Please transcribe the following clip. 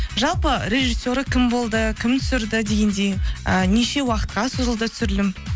жалпы режиссері кім болды кім түсірді дегендей ы неше уақытқа созылды түсірілім